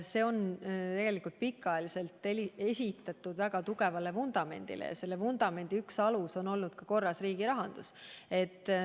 See on tegelikult pikka aega ehitatud väga tugev vundament ja selle vundamendi üks osa on olnud korras riigirahandus.